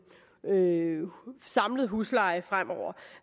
neutral samlet husleje fremover